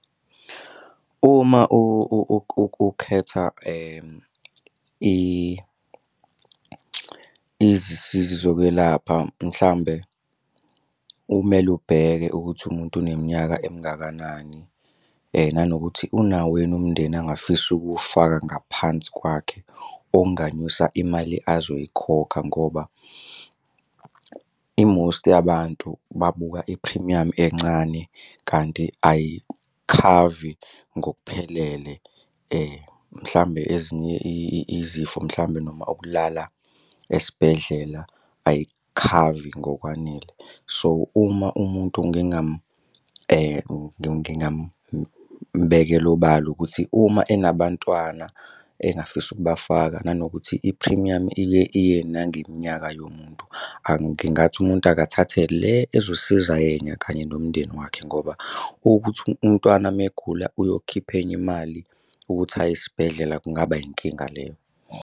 Uma ukhetha izisizi zokwelapha, mhlawumbe kumele ubheke ukuthi umuntu uneminyaka emingakanani, nanokuthi unawo yini umndeni angafisa ukuwufaka ngaphansi kwakhe okunganyusa imali azoyikhokha ngoba i-most yabantu babuka iphrimiyamu encane kanti ayikhavi ngokuphelele. Mhlawumbe ezinye izifo mhlawumbe noma ukulala esibhedlela ayikukhavi ngokwanele. So, uma umuntu ngingamubekela obala ukuthi uma enabantwana engafisa ukubafaka nanokuthi iphrimiyamu ike iye nangeminyaka yomuntu. Ngingathi umuntu akathathe le ezosiza yena kanye nomndeni wakhe ngoba ukuthi umntwana uma egula uyokhipha enye imali ukuthi aye esibhedlela kungaba yinkinga leyo.